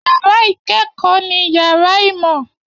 Yàrá ìkẹ́kọ̀ọ́ ni yàrá ìmọ̀